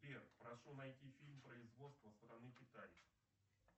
сбер прошу найти фильм производства страны китай